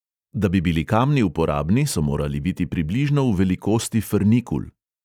Da bi bili kamni uporabni, so morali biti približno v velikosti frnikul.